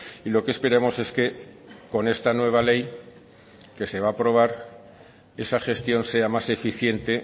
y lo que esperamos es que con esta nueva ley que se va a aprobar esa gestión sea más eficiente